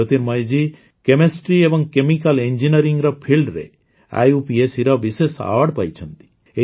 ଜ୍ୟୋତିର୍ମୟୀଜୀ chemistry ଏବଂ chemical engineering Fieldର IUPACର ବିଶେଷ ଆୱାର୍ଡ ପାଇଛନ୍ତି